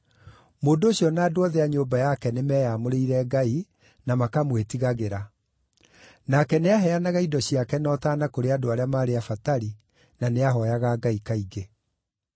Mũndũ ũcio na andũ othe a nyũmba yake nĩmeyamũrĩire Ngai na makamwĩtigagĩra; nake nĩaheanaga indo ciake na ũtaana kũrĩ andũ arĩa maarĩ abatari na nĩahooyaga Ngai kaingĩ.